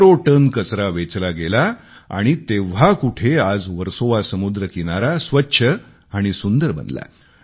हजारो टन कचरा वेचला गेला आणि तेव्हा कुठे आज वर्सोवा समुद्रकिनारा स्वच्छ आणि सुंदर बनला